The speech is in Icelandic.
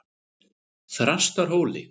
Þrastarhóli